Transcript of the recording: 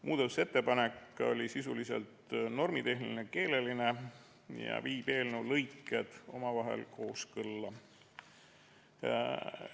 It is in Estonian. Muudatusettepanek oli sisuliselt normitehniline, keeleline ja viib eelnõu lõiked omavahel kooskõlla.